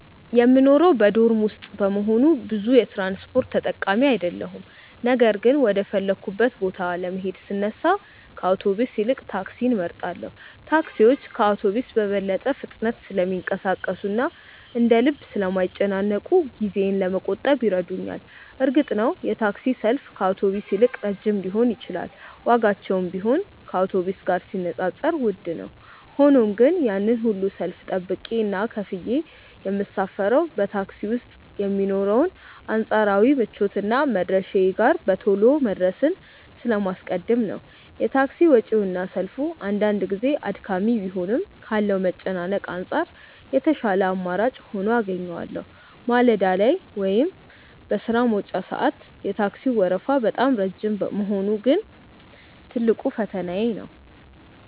የምኖረው በዶርም ውስጥ በመሆኑ ብዙ የትራንስፖርት ተጠቃሚ አይደለሁም ነገር ግን ወደ ፈለግኩበት ቦታ ለመሄድ ስነሳ ከአውቶቡስ ይልቅ ታክሲን እመርጣለሁ። ታክሲዎች ከአውቶቡስ በበለጠ ፍጥነት ስለሚንቀሳቀሱና እንደ ልብ ስለማይጨናነቁ ጊዜዬን ለመቆጠብ ይረዱኛል። እርግጥ ነው የታክሲ ሰልፍ ከአውቶቡስ ይልቅ ረጅም ሊሆን ይችላል ዋጋቸውም ቢሆን ከአውቶቡስ ጋር ሲነጻጸር ውድ ነው። ሆኖም ግን ያንን ሁሉ ሰልፍ ጠብቄና ከፍዬ የምሳፈረው በታክሲ ውስጥ የሚኖረውን አንጻራዊ ምቾትና መድረሻዬ ጋር በቶሎ መድረስን ስለማስቀድም ነው። የታክሲ ወጪውና ሰልፉ አንዳንድ ጊዜ አድካሚ ቢሆንም ካለው መጨናነቅ አንጻር የተሻለ አማራጭ ሆኖ አገኘዋለሁ። ማለዳ ላይ ወይም በሥራ መውጫ ሰዓት የታክሲው ወረፋ በጣም ረጅም መሆኑ ግን ትልቁ ፈተናዬ ነው።